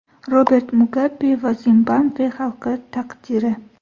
Robert Mugabe va Zimbabve xalqi taqdiri.